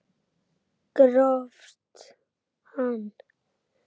Grófst hann!